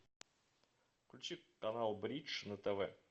включи канал бридж на тв